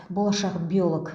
болашақ биолог